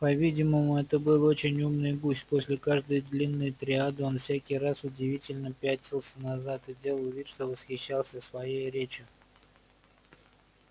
по-видимому это был очень умный гусь после каждой длинной триады он всякий раз удивлённо пятился назад и делал вид что восхищался своею речью